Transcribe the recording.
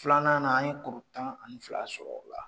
Filanan na an kuru tan ani fila sɔrɔ o la